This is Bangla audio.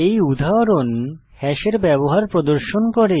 এই উদাহরণ হ্যাশের ব্যবহার প্রদর্শন করে